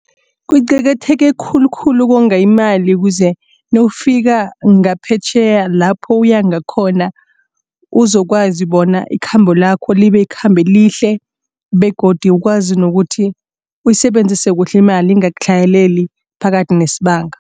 Kuqakatheke khulukhulu ukonga imali ukuze nawufika ngaphetjheya lapho uya ngakhona uzokwazi bona ikhambo lakho libe likhambo elihle begodu ukwazi nokuthi uyisebenzise kuhle imali ingakutlhayeleli phakathi nesibanga.